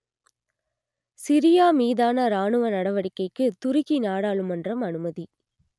Syria மீதான ராணுவ நடவடிக்கைக்கு துருக்கி நாடாளுமன்றம் அனுமதி